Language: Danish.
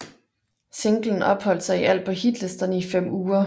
Singlen opholdt sig i alt på hitlisterne i fem uger